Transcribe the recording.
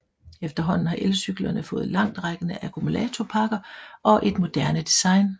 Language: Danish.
Efterhånden har elcyklerne fået langtrækkende akkumulatorpakker og et moderne design